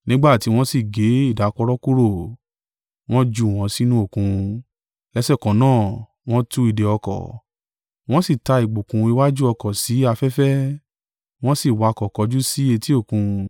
Nígbà tí wọ́n sì gé ìdákọ̀ró kúrò, wọn jù wọn sínú Òkun, lẹ́sẹ̀kan náà wọn tú ìdè-ọkọ̀, wọn sì ta ìgbokùn iwájú ọkọ̀ sí afẹ́fẹ́, wọn sì wakọ̀ kọjú sí etí Òkun.